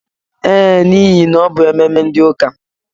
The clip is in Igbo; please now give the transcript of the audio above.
Ee, n'ihe na ọ bụ ememe ndi ụka.